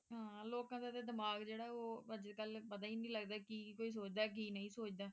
ਲੋਕਾਂ ਦਾ ਦਿਮਾਗ ਜਿਹੜਾ ਹੈ ਅੱਜ ਕੱਲ ਪਤਾ ਹੀ ਨਹੀਂ ਲੱਗਦਾ ਕੀ ਕੀ ਕੋਈ ਸੋਚਦਾ ਕੀ ਨਹੀਂ ਸੋਚਦਾ